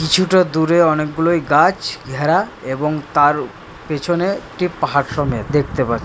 কিছুটা দূরে অনেকগুলোয় গাছ ঘেরা এবং তার পিছনে একটি পাহাড় সমেত দেখতে পা--